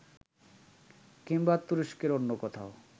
কিংবা তুরস্কের অন্য কোথাও